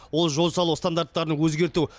ол жол салу стандарттарын өзгерту